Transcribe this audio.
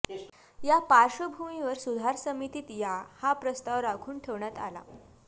या पार्श्वभूमीवर सुधार समितीत या हा प्रस्ताव राखून ठेवण्यात आला